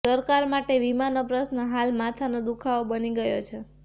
સરકાર માટે વીમાનો પ્રશ્ન હાલ માથાનો દુખાવો બની ગયો છે